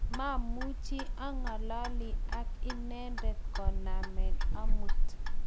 mamuchi ang'alali ak inendet koname amut